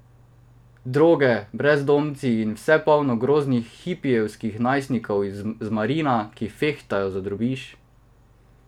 Droge, brezdomci in vse polno groznih hipijevskih najstnikov z Marina, ki fehtajo za drobiž.